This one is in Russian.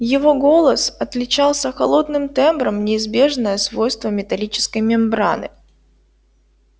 его голос отличался холодным тембром неизбежное свойство металлической мембраны